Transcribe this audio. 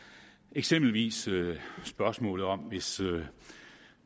eksempelvis spørgsmålet om at hvis